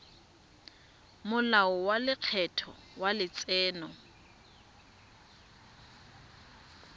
molao wa lekgetho wa letseno